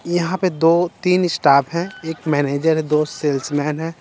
यहां पे दो तीन स्टाफ हैं एक मैनेजर है दो सेल्समैन है।